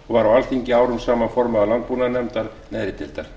og var á alþingi árum saman formaður landbúnaðarnefndar neðri deildar